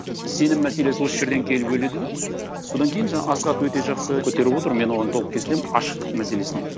сенім мәселесі осы жерден келіп өледі де содан кейін жаңа асхат өте жақсы көтеріп отыр мен оған толық келісемін ашықтық мәселесіне